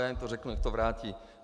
Já jim to řeknu, ať to vrátí.